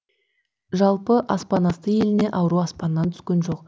жалпы аспан асты еліне ауру аспаннан түскен жоқ